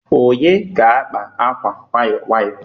onye ga-akpa akwa nwayọ nwayọ